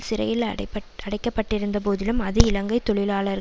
சிறையில் அடைக்கப்பட்டிருந்த போதிலும் அது இலங்கை தொழிலாளர்